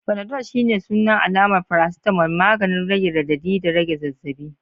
Panadol shine sunan alamar paracetamol, maganin rage radadi da rage zazzabi.